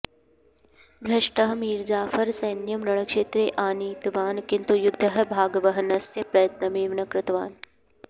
भ्रष्टः मीर्जाफर् सैन्यं रणक्षेत्रे आनीतवान् किन्तु युद्धे भागवहनस्य प्रयत्नमेव न कृतवान्